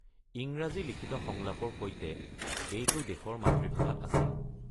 ইংৰাজী লিখিত সংলাপৰ সৈতে এইটো দেশৰ মাতৃভাষাত আছিল।